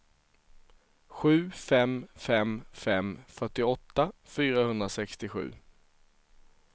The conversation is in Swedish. sju fem fem fem fyrtioåtta fyrahundrasextiosju